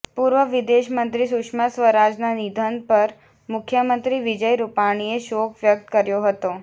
પૂર્વ વિદેશમંત્રી સુષ્મા સ્વરાજના નિધન પર મુખ્યમંત્રી વિજય રૂપાણીએ શોક વ્યક્ત કર્યો હતો